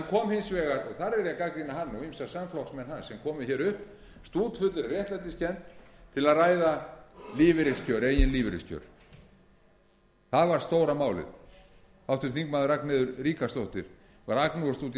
hans sem komu hér upp stútfullir af réttlætiskennd til að ræða eigin lífeyriskjör það var stóra farið háttvirtur þingmaður ragnheiður ríkharðsdóttir var að agnúast út í